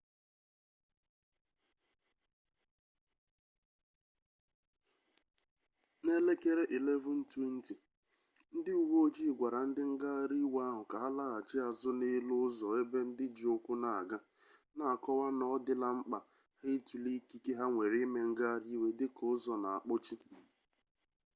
n'elekere 11:20 ndị uwe ojii gwara ndị ngagharị iwe ahụ ka ha laghachi azụ n'elu ụzọ ebe ndị ji ụkwụ na-aga na-akọwa na ọ dịla mkpa ha ịtụle ikike ha nwere ime ngagharị iwe dịka ụzọ na-akpọchi